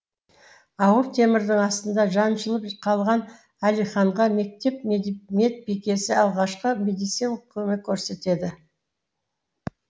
ауыр темірдің астында жаншылып қалған әлиханға мектеп медбикесі алғашқы медисиналық көмек көрсетеді